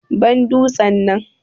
Ban dutsen nan.